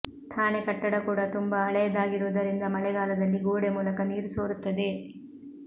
ಠಾಣೆ ಕಟ್ಟಡ ಕೂಡ ತುಂಬಾ ಹಳೆಯದಾಗಿರುವುದರಿಂದ ಮಳೆಗಾಲದಲ್ಲಿ ಗೋಡೆ ಮೂಲಕ ನೀರು ಸೋರುತ್ತದೆ